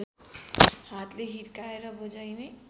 हातले हिर्काएर बजाइने